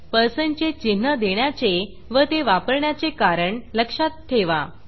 percentपर्सेंट चे चिन्ह देण्याचे व ते वापरण्याचे कारण लक्षात ठेवा